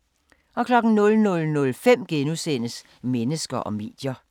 00:05: Mennesker og medier *